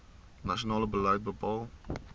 nasionale beleid bepaal